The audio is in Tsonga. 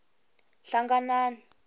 hlanganani